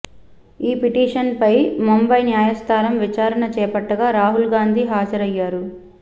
ఈ పిటిషన్పై ముంబయి న్యాయస్థానం విచారణ చేపట్టగా రాహుల్ గాంధీ హాజరయ్యారు